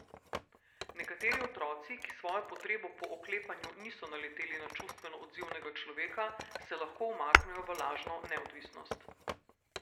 Nekateri otroci, ki s svojo potrebo po oklepanju niso naleteli na čustveno odzivnega človeka, se lahko umaknejo v lažno neodvisnost.